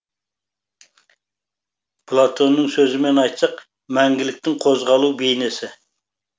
платонның сөзімен айтсақ мәңгіліктің қозғалу бейнесі